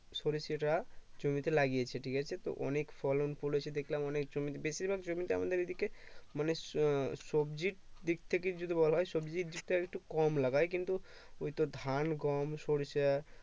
সরিষাটা জমিতে লাগিয়েছে ঠিক আছে তো অনেক ফলন করেছে দেখলাম অনেক জমিতে বেশির ভাগ জমিতে আমাদের এদিকে মানে সবজির দিক থেকে যদি বলা হয় সবজি দিক তা একটু কম লাগাই কিন্তু ওই তোর ধান গম সরিষা